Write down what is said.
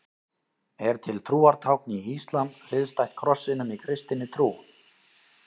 Er til trúartákn í íslam hliðstætt krossinum í kristinni trú?